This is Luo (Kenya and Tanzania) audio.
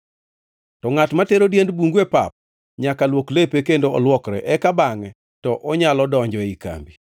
“To ngʼat matero diend bungu e pap nyaka luok lepe kendo olwokre; eka bangʼe to onyalo donjo ei kambi.